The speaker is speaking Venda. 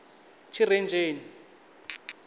tshirenzheni